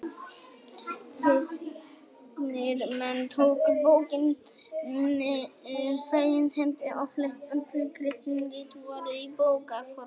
Kristnir menn tóku bókinni fegins hendi og flest öll kristin rit voru í bókarformi.